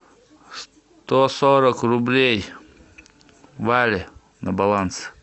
сто сорок рублей вале на баланс